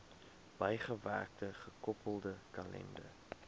bygewerkte gekoppelde kalender